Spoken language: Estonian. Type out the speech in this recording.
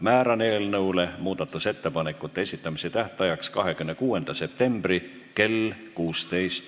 Määran eelnõu muudatusettepanekute esitamise tähtajaks 26. septembri kell 16.